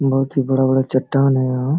बहुत ही बड़ा - बड़ा चट्टान है यहां ।